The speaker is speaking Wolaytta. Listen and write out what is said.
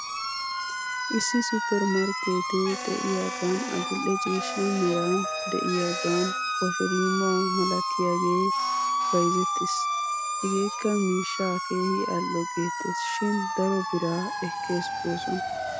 Issi supper markeetee xe'iyaagan adil'e ciishsha meran diyaagan keshorimu malatiyagee bayzettes. Hegeekka mishshaa keehi al'o geettes shin daro biraa ekkes goosona.